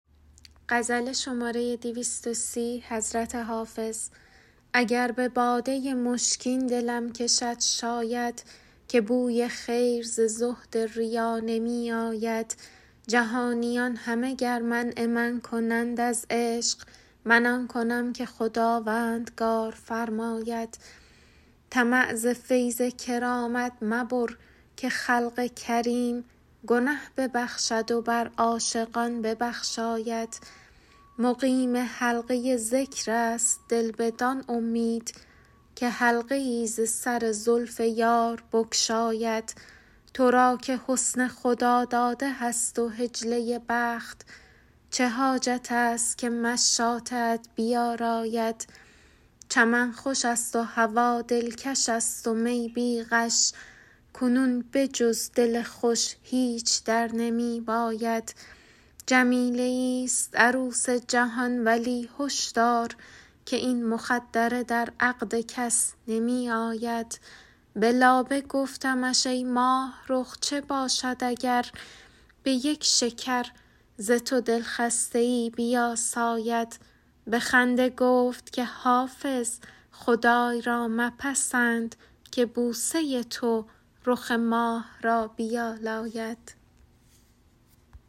اگر به باده مشکین دلم کشد شاید که بوی خیر ز زهد ریا نمی آید جهانیان همه گر منع من کنند از عشق من آن کنم که خداوندگار فرماید طمع ز فیض کرامت مبر که خلق کریم گنه ببخشد و بر عاشقان ببخشاید مقیم حلقه ذکر است دل بدان امید که حلقه ای ز سر زلف یار بگشاید تو را که حسن خداداده هست و حجله بخت چه حاجت است که مشاطه ات بیاراید چمن خوش است و هوا دلکش است و می بی غش کنون به جز دل خوش هیچ در نمی باید جمیله ایست عروس جهان ولی هش دار که این مخدره در عقد کس نمی آید به لابه گفتمش ای ماهرخ چه باشد اگر به یک شکر ز تو دلخسته ای بیاساید به خنده گفت که حافظ خدای را مپسند که بوسه تو رخ ماه را بیالاید